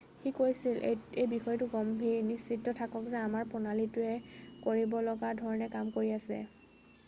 "সি কৈছিল,""এই বিষয়টো গম্ভীৰ। নিশ্চিত থাকক যে আমাৰ প্ৰণালীটোৱে কৰিব লগা ধৰণে কাম কৰি আছে।""